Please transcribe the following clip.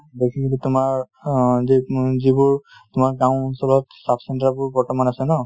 basically তোমাৰ অ যিবোৰ তোমাৰ গাওঁ অঞ্চলত sub center বোৰ বৰ্তমান আছে ন ,